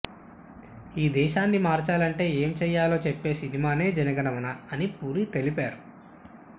ఈ దేశాన్ని మార్చాలంటే ఏం చేయాలో చెప్పే సినిమానే జనగణమన అని పూరి తెలిపారు